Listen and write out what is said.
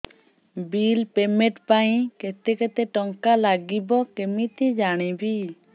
bill payment ପାଇଁ କେତେ କେତେ ଟଙ୍କା ଲାଗିବ କେମିତି ଜାଣିବି